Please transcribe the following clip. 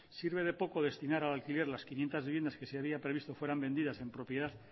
sirve de poco destinar al alquiler las quinientos viviendas que se había previsto fueran vendidas en propiedad